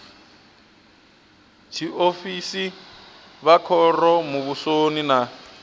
tshiofisi vha khoro muvhusoni na